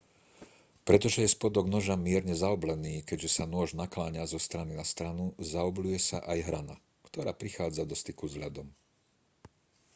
pretože je spodok noža mierne zaoblený keďže sa nôž nakláňa zo strany na stranu zaobľuje sa aj hrana ktorá prichádza do styku s ľadom